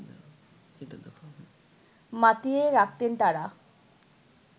মাতিয়ে রাখতেন তারা